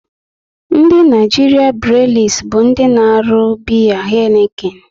Ndị Naịjirịa breelis bụ ndị na-arụ biya Heineken